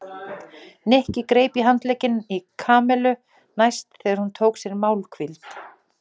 Nikki greip í handlegginn í Kamillu næst þegar hún tók sér málhvíld.